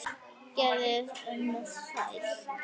Gerði allt með stæl.